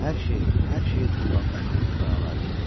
Hər şeyi, hər şeyi tullanmışam, o əlavə eləyir.